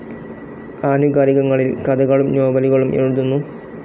ആനുകാലികങ്ങളിൽ കഥകളും നോവലുകളും എഴുതുന്നു.